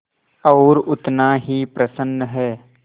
और उतना ही प्रसन्न है